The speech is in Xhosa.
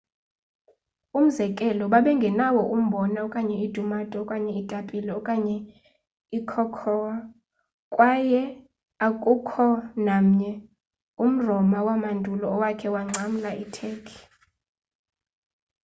umzekelo babengenawo umbhona okanye iitumato okanye iitapile okanye icocoa kwaye akukho namnye umroma wamandulo owakha wangcamla iturkey